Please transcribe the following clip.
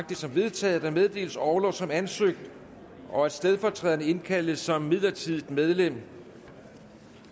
det som vedtaget at der meddeles orlov som ansøgt og at stedfortræderen indkaldes som midlertidigt medlem